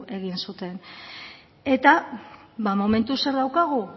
egin zuten eta ba momentuz zer daukagun